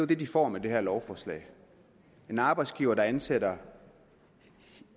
det de får med det her lovforslag en arbejdsgiver der ansætter